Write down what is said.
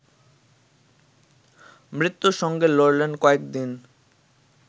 মৃত্যুর সঙ্গে লড়লেন কয়েক দিন